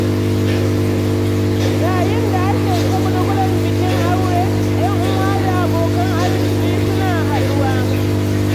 Yayin da ake shagulgulan bikin aure, ƴan'uwa da abokan arziki suna haɗuwa.